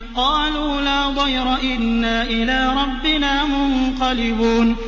قَالُوا لَا ضَيْرَ ۖ إِنَّا إِلَىٰ رَبِّنَا مُنقَلِبُونَ